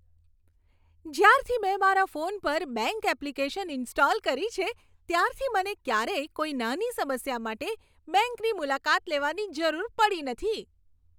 જ્યારથી મેં મારા ફોન પર બેંક એપ્લિકેશન ઈન્સ્ટોલ કરી છે, ત્યારથી મને ક્યારેય કોઈ નાની સમસ્યા માટે બેંકની મુલાકાત લેવાની જરૂર પડી નથી.